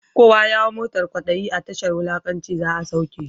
Kowa ya hau motan kwadayi, a tashar wulakanci za’a sauke shi.